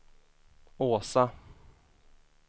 Åsa